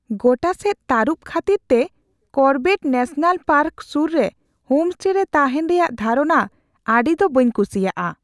ᱜᱚᱴᱟ ᱥᱮᱫ ᱛᱟᱹᱨᱩᱵᱽ ᱠᱷᱟᱹᱛᱤᱨᱛᱮ ᱠᱚᱨᱵᱮᱴ ᱱᱮᱥᱚᱱᱟᱞ ᱯᱟᱨᱠ ᱥᱩᱨ ᱨᱮ ᱦᱳᱢᱮᱥᱴᱮ ᱨᱮ ᱛᱟᱦᱮᱱ ᱨᱮᱭᱟᱜ ᱫᱷᱟᱨᱚᱱᱟ ᱟᱹᱰᱤ ᱫᱚ ᱵᱟᱹᱧ ᱠᱩᱥᱤᱭᱟᱜᱼᱟ ᱾